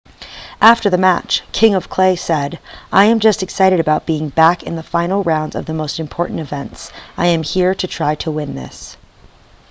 after the match king of clay said i am just excited about being back in the final rounds of the most important events i am here to try to win this